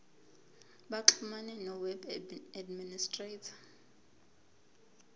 baxhumane noweb administrator